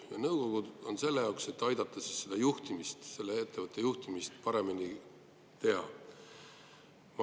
Need nõukogud on selleks, et aidata ettevõtet paremini juhtida.